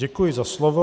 Děkuji za slovo.